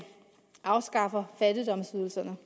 afskaffer fattigdomsydelserne